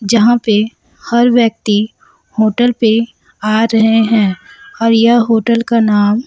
जहां पे हर व्यक्ति होटल पे आ रहे हैं और यह होटल का नाम--